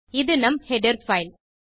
இது நம் header file